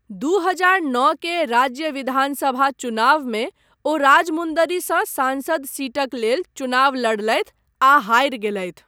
दू हजार नओ के राज्य विधानसभा चुनावमे ओ राजमुन्दरीसँ सांसद सीटक लेल चुनाव लड़लथि आ हारि गेलथि।